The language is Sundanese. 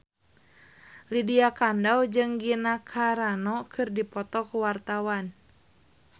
Lydia Kandou jeung Gina Carano keur dipoto ku wartawan